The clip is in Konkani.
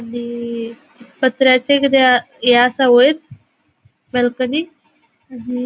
आणि पत्र्याचे किदे ये असा वयर बाल्कनी आणि --